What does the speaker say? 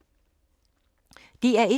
DR1